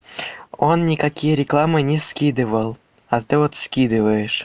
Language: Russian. он никакие рекламы не скидывал а ты вот скидываиешь